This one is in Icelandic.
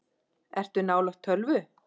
Ertu nálægt tölvu?